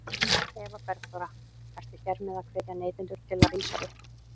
Eva Bergþóra: Ertu hér með að hvetja neytendur til að rísa upp?